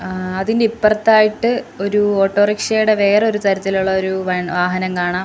ഏഹ് അതിനിപ്പറത്തായിട്ട് ഒരു ഓട്ടോറിക്ഷേടെ വേറൊരു തരത്തിലുള്ളൊരു വൺ വാഹനം കാണാം.